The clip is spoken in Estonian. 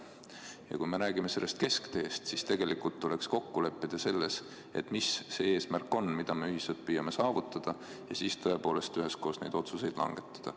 Ja kui me räägime sellest keskteest, siis tegelikult tuleks kokku leppida selles, mis on see eesmärk, mida me ühiselt püüame saavutada, ja siis tõepoolest üheskoos neid otsuseid langetada.